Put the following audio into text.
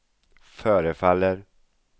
förefaller